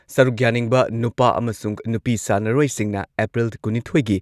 ꯁꯔꯨꯛ ꯌꯥꯅꯤꯡꯕ ꯅꯨꯄꯥ ꯑꯃꯁꯨꯡ ꯅꯨꯄꯤ ꯁꯥꯟꯅꯔꯣꯏꯁꯤꯡꯅ ꯑꯦꯄ꯭ꯔꯤꯜ ꯀꯨꯟꯅꯤꯊꯣꯏꯒꯤ